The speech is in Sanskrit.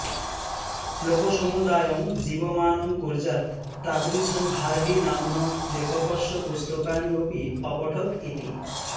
ळोकसमुदायं जीवमानं कुर्यात् तादृशं हार्डी नाम्नः लेखकस्य पुस्तकानि अपि अपठत् इति